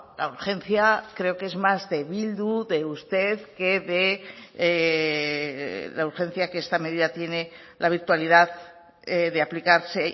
la urgencia creo que es más de bildu de usted que de la urgencia que esta medida tiene la virtualidad de aplicarse